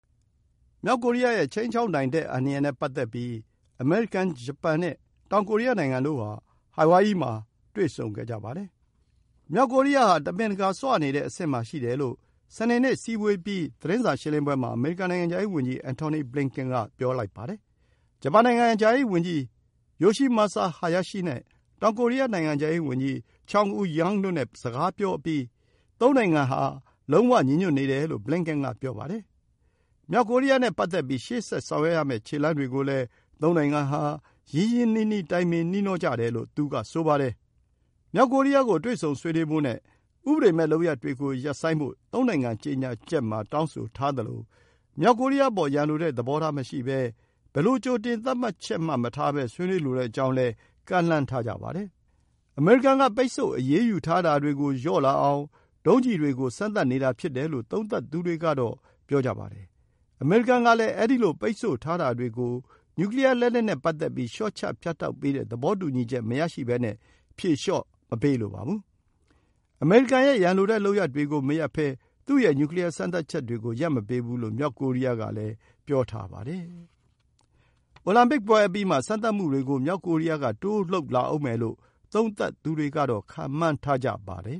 မြောက်ကိုရီးယားရဲ့ ခြိမ်းခြောက်နိုင်မှု အန္တရာယ်နဲ့ ပတ်သက်ပြီး အမေရိကန်၊ ဂျပန်နဲ့ တောင်ကိုရီးယားနိုင်ငံတို့ဟာ ဟာဝိုင်ယီမှာ တွေ့ဆုံခဲ့ကြပါတယ်။ မြောက်ကိုရီးယားဟာ တမင်တကာ ဆွနေတဲ့အဆင့်မှာ ရှိတယ်လို့ စနေနေ့ အစည်းအဝေးအပြီး သတင်းစာရှင်းလင်းပွဲမှာ အမေရိကန် နိုင်ငံခြားရေးဝန်ကြီး Antony Blinken က ပြောပါတယ်။ ဂျပန်နိုင်ငံခြားရေးဝန်ကြီး Yoshimasa Hayashi နဲ့ တောင်ကိုရီးယား နိုင်ငံခြားရေးဝန်ကြီး Chung Eui-yong တို့နဲ့ စကားပြောအပြီးမှာ သုံးနိုင်ငံဟာ လုံးဝဥဿုံ ညီညွတ်နေတယ်လို့ Blinken က ပြောပါတယ်။ မြောက်ကိုရီးယားနဲ့ ပတ်သက်ပြီး ရှေ့ဆက်ဆောင်ရွက်ရမယ့် ခြေလှမ်းတွေကိုလည်း သုံးနိုင်ငံဟာ ရင်းရင်းနှီးနှီး တိုင်ပင်နှီးနှောကြတယ်လို့ သူကဆိုပါတယ်။ မြောက်ကိုရီးယားကို တွေ့ဆုံဆွေးနွေးဖို့နဲ့ ဥပဒေမဲ့လုပ်ရပ်တွေ ရပ်ဖို့ သုံးနိုင်ငံ ကြေညာချက်မှာ တောင်းဆိုထားသလို မြောက်ကိုရီးယားအပေါ် ရန်လိုတဲ့သဘောထား မရှိဘဲ ဘယ်လို ကြိုတင်သတ်မှတ်ချက် မထားဘဲ ဆွေးနွေးလိုကြောင်းလည်း ကမ်းလှမ်းထားပါတယ်။ အမေရိကန်က ပိတ်ဆို့အရေးယူထားတာတွေကို လျှော့လာအောင် ဒုံးကျည်တွေကို စမ်းသပ်နေတာ ဖြစ်တယ်လို့ သုံးသပ်သူတွေက ပြောကြပါတယ်။ အမေရိကန်ကလည်း အဲဒီလို ပိတ်ဆို့ထားတာတွေကို နျူကလီးယားလက်နက်နဲ့ ပတ်သက်ပြီး လျှော့ချ ဖြတ်တောက်ပေးတဲ့ သဘောတူညီချက် မရဘဲ ဖြေလျှော့မပေးလိုပါဘူး။ အမေရိကန်ရဲ့ ရန်လိုတဲ့ လုပ်ရပ်တွေကို မရပ်ဘဲ သူ့ရဲ့ နျူကလီးယား စမ်းသပ်ချက်တွေကို ရပ်မပေးဘူးလို့ မြောက်ကိုရီးယားကလည်း ပြောထားပါတယ်။ အိုလံပစ်ပွဲအပြီးမှာ စမ်းသပ်မှုတွေကို မြောက်ကိုရီးယားက တိုးလုပ်လာဦးမယ်လို့ သုံးသပ်သူတွေက ခန့်မှန်းထားကြပါတယ်